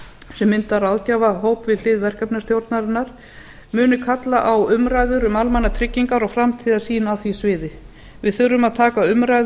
sem mynda ráðgjafahóp við hlið verkefna stjórnarinnar muni kalla á umræður um almannatryggingar og framtíðarsýn á því sviði við þurfum að taka umræðu